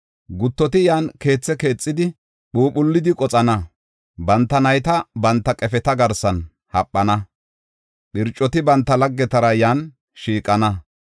Guttoti yan keethe keexidi, phuuphullidi qoxana. Banta nayta banta qefeta garsan haphana; phircoti banta laggetara yan shiiqana.